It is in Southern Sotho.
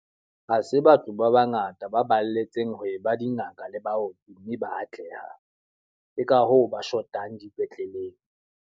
Ha se batho ba ba ngata ba balletseng ho e ba dingaka le bao mme ba atlehang. Ke ka hoo ba shotang dipetleleng.